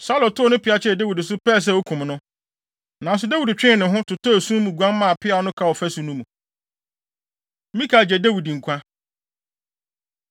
Saulo tow ne peaw kyerɛɛ Dawid so, pɛɛ sɛ okum no. Nanso Dawid twee ne ho, totɔɔ esum mu guan maa peaw no kaa ɔfasu no mu. Mikal Gye Dawid Nkwa